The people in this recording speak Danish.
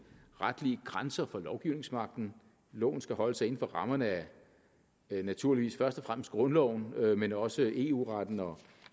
retlige grænser for lovgivningsmagten loven skal holde sig inden for rammerne af naturligvis først og fremmest grundloven men også eu retten og